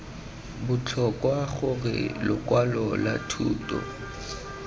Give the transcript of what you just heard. botlhokwa gore lokwalo lwa thuto